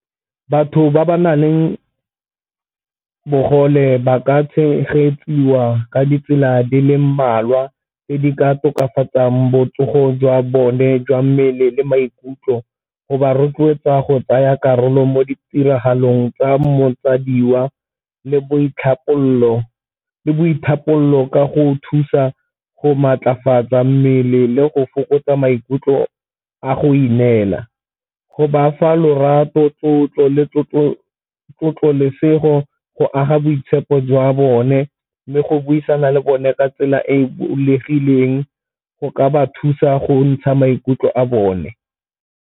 Batho ba ba nang le bogole ba ka tshegetsiwa ka ditsela di le mmalwa tse di ka tokafatsang botsogo jwa bone jwa mmele le maikutlo, go ba rotloetsa go tsaya karolo mo ditiragalong tsa le ka go thusa go maatlafatsa mmele le go fokotsa maikutlo a go ineela. Go bafa lorato tlotlo le go aga boitshepo jwa bone le go buisana le bone ka tsela e e bulegileng go ka ba thusa go ntsha maikutlo a bone.